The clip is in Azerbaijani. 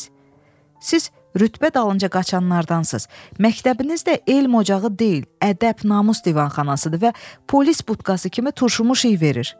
Siz rütbə dalınca qaçanlardansız, məktəbinizdə elm ocağı deyil, ədəb, namus divanxanasıdır və polis butkası kimi turşumuş iy verir.